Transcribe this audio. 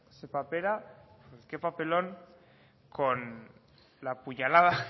ze papera qué papelón con la puñalada